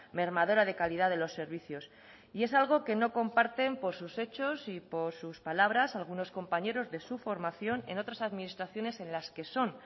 mermadora de calidad de los servicios es algo que no comparten por sus hechos y por sus palabras algunos compañeros de su formación en otras administraciones en las que son